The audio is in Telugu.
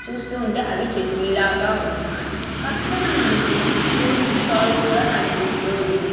చూస్తూ ఉంటే అవి చట్నీ లాగా ఉన్నాయి పక్కన మనకి ఫ్రూట్స్ స్టాల్ కూడా కనిపిస్తూ ఉంది.